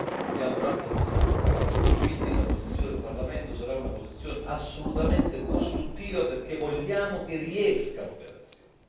vogliamo rafforzarla e quindi la posizione del Parlamento sarà una posizione assolutamente costruttiva perché vogliamo che riesca l'operazione.